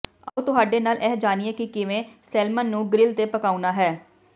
ਆਉ ਤੁਹਾਡੇ ਨਾਲ ਇਹ ਜਾਣੀਏ ਕਿ ਕਿਵੇਂ ਸੈਲਮਨ ਨੂੰ ਗਰਿਲ ਤੇ ਪਕਾਉਣਾ ਹੈ